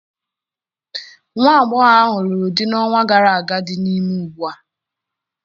Nwa agbọghọ ahụ lụrụ di n'ọnwa gara aga dị ime ugbua.